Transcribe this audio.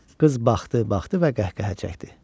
Qız baxdı, baxdı və qəhqəhə çəkdi.